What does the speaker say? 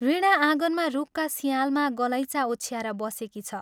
वीणा आँगनमा रूखका सिंयालमा गलैँचा ओछ्याएर बसेकी छ।